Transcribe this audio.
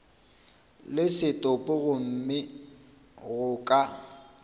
le setopo gomme go ka